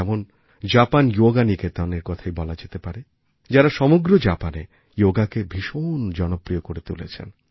যেমন জাপান যোগা নিকেতনএর কথাই বলা যেতে পারে যারাসমগ্র জাপানে যোগাকে ভীষণ জনপ্রিয় করে তুলেছেন